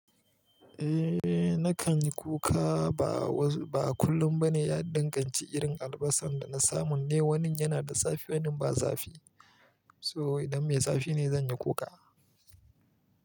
Eh nakan yi kuka ba wasu ba kullum ba ne. Ya dinga ci irin albasan da na samu ne, wani yana da safe wani ba safe. So idan mai zafi ne zan yi kuka.